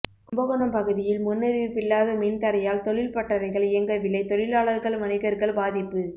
கும்பகோணம் பகுதியில் முன்னறிவிப்பில்லாத மின்தடையால் தொழில் பட்டறைகள் இயங்கவில்லை தொழிலாளர்கள் வணிகர்கள் பாதிப்பு